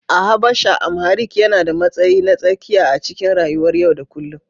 A Habasha, Amharic yana da matsayi na tsakiya a cikin rayuwar yau da kullum